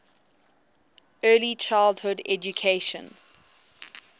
early childhood education